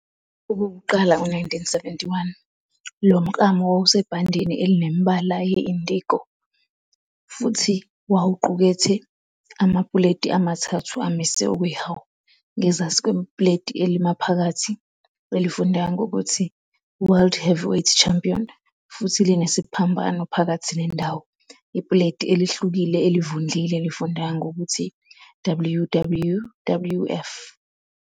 Okokuqala ngo-1971, lo mklamo wawusebhandeni elinemibala ye-indigo futhi wawuqukethe amapuleti amathathu amise okwehawu. Ngezansi kwepuleti elimaphakathi, elifundeka ngokuthi "World Heavyweight Champion" futhi linesiphambano phakathi nendawo, ipuleti elihlukile elivundlile lifundeka ngokuthi "WWWF".